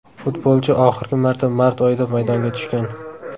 Futbolchi oxirgi marta mart oyida maydonga tushgan.